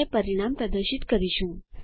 અને પરિણામ પ્રદર્શિત કરીશું